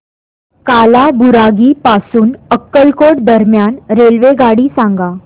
कालाबुरागी पासून अक्कलकोट दरम्यान रेल्वेगाडी सांगा